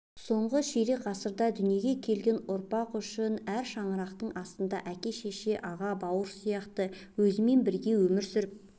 соңғы ширек ғасырда дүниеге келген ұрпақ үшін әр шаңырақтың астында әке-шеше аға-бауыр сияқты өзімен бірге өмір сүріп